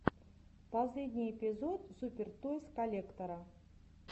последний эпизод супер тойс коллектора